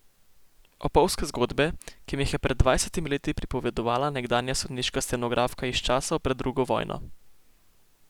Opolzke zgodbe, ki mi jih je pred dvajsetimi leti pripovedovala nekdanja sodniška stenografka iz časov pred drugo vojno.